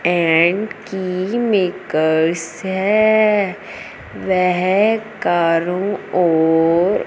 and की makers है वेह कारों और--